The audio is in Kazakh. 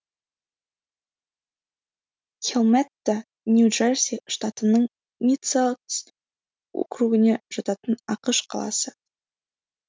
хелмэтта нью джерси штатының мидселкс округіне жататын ақш қаласы